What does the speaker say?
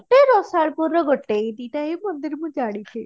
ରସାଳପୁରର ଗୋଟେ ଏଇ ଦୁଇଟା ମନ୍ଦିର ହିଁ ମୁଁ ଜାଣିଛି